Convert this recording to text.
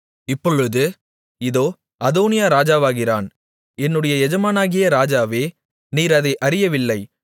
இப்பொழுது இதோ அதோனியா ராஜாவாகிறான் என்னுடைய எஜமானாகிய ராஜாவே நீர் அதை அறியவில்லை